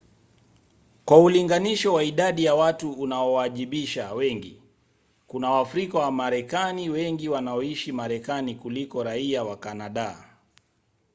kwa ulinganisho wa idadi ya watu unaowaajabisha wengi: kuna waafrika wamarekani wengi wanaoishi marekani kuliko raia wa kanada